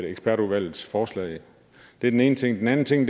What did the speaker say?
ekspertudvalgets forslag det er den ene ting den anden ting